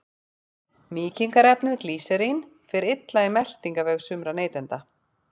Mýkingarefnið glýserín fer illa í meltingarveg sumra neytenda.